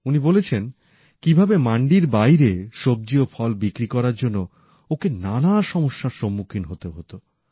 উনি বলেছেন কীভাবে মান্ডির বাইরে সবজি ও ফল বিক্রি করার জন্য ওঁকে নানা সমস্যার সম্মুখীন হতে হতো